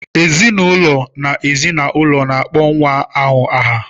Ezinụlọ na ezi na ụlọ na-akpọ nwa ahụ aha.